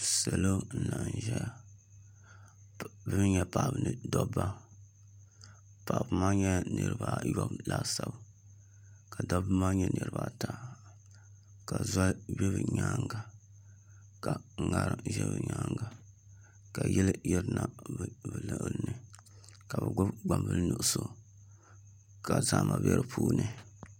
Salo n laɣam ʒɛya ŋɔ bi mii nyɛla paɣaba ni dabba paɣaba maa nyɛla niraba ayobu laasabu ka dabba maa nyɛ niraba ata ka zoli bɛ bi myaanga ka ŋarim ʒɛ bi nyaanga ka yili yirina bi luɣuli ni ka bi gbubi gbambili nuɣso ka zahama bɛ di puuni